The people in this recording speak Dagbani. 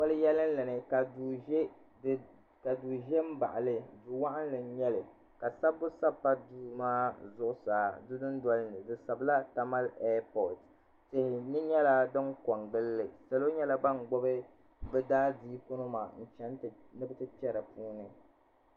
Palo yɛnli ni ka duu zɛ n baɣi li duu wɔɣinnli nyɛli ka sabibu sabi pa duu maa zuɣusaa di duu noli ni di sabila Tamale air port tihi nyɛla dini ko n gili li salo nyɛla bani gbubi bi' daa siiku nima n chɛni ni bi ti kpɛ di puuni.